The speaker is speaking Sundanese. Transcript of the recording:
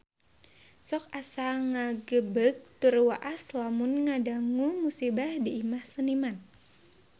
Sok asa ngagebeg tur waas lamun ngadangu musibah di Imah Seniman